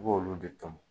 I b'olu de tom